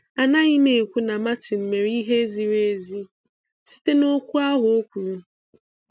Anaghịm ekwu na Martin mèrè ihe ziri ezi site ná okwu ahụ o kwuru